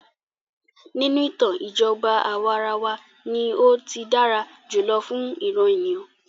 Nínú ìtàn, ìjọba àwàrawa ní o tí dára jùlọ fún ìràn ènìyàn.